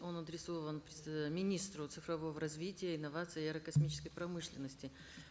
он адресован министру цифрового развития инновации и аэрокосмической промышленности